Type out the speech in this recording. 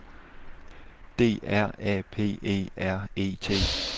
D R A P E R E T